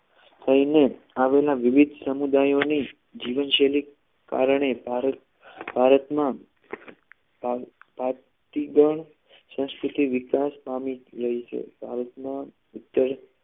થઈને આવેલા વિવિધ સમુદાયમાં જીવનશૈલી કારણે ભારત ભારતમાં ભારતીઘન સંસ્કૃતિ વિકાસ પામી રહી છે ભારતમાં ઉત્તર